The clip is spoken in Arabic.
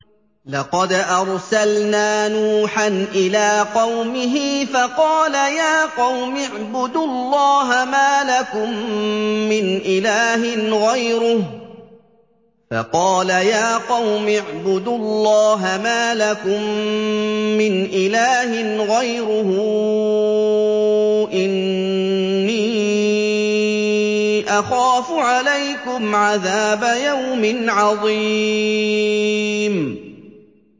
لَقَدْ أَرْسَلْنَا نُوحًا إِلَىٰ قَوْمِهِ فَقَالَ يَا قَوْمِ اعْبُدُوا اللَّهَ مَا لَكُم مِّنْ إِلَٰهٍ غَيْرُهُ إِنِّي أَخَافُ عَلَيْكُمْ عَذَابَ يَوْمٍ عَظِيمٍ